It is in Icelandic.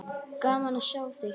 Gaman að sjá þig hér!